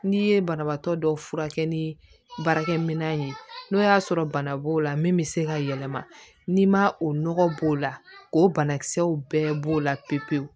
N'i ye banabaatɔ dɔ furakɛ ni baarakɛminɛn ye n'o y'a sɔrɔ bana b'o la min bɛ se ka yɛlɛma n'i ma o nɔgɔ b'o la o banakisɛw bɛɛ b'o la pewu pewu